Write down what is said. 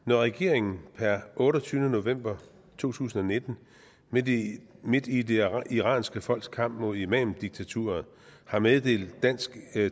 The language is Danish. når regeringen per otteogtyvende november to tusind og nitten midt i midt i det iranske folks kamp mod imamdiktaturet har meddelt dansk